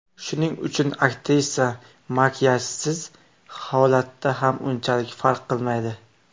Shuning uchun aktrisa makiyajsiz holatda ham unchalik farq qilmaydi.